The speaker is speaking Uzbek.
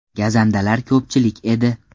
Gazandalar ko‘pchilik edi.